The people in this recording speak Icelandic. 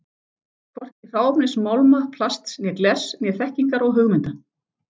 Hvorki hráefnis málma, plasts og glers né þekkingar og hugmynda.